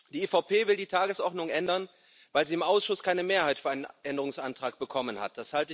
Die EVP will die Tagesordnung ändern, weil sie im Ausschuss keine Mehrheit für einen Änderungsantrag bekommen hat.